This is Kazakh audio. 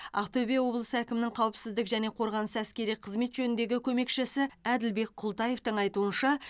ақтөбе облысы әкімінің қауіпсіздік және қорғаныс әскери қызмет жөніндегі көмекшісі әділбек култаевтың айтуынша